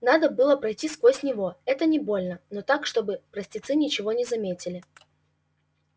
надо было пройти сквозь него это не больно но так чтобы простецы ничего не заметили